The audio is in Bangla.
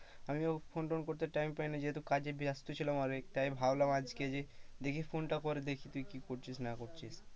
আমিও ফোন টোন করতে time পাইনা যেহেতু কাজে ব্যস্ত ছিলাম অনেক তাই আজ ভাবলাম আজকে দেখি ফোনটা করে দেখি তুই কি করছিস না করছিস,